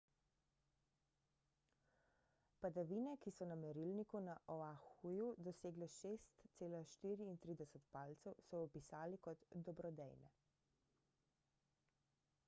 padavine ki so na merilniku na oahuju dosegle 6,34 palcev so opisali kot dobrodejne